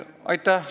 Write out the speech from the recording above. Aitäh!